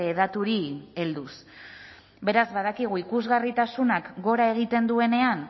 daturi helduz beraz badakigu ikusgarritasunak gora egiten duenean